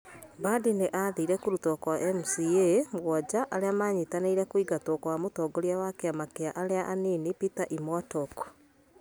Mbadi nĩ aathire kũrutwo kwa MCAs mũgwanja arĩa manyitanĩire kũingatwo kwa mũtongoria wa kĩama kĩa arĩa anini Peter Imwatok.